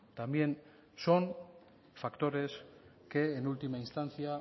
también son factores que en última instancia